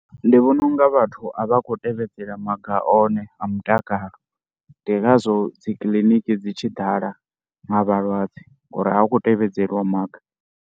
Ndi vhona u nga vhathu a vha a khou tevhedzela maga one a mutakalo ndi ngazwo dzi kiliniki dzi tshi ḓala nga vhalwadze ngori a hu khou tevhedzeliwa maga.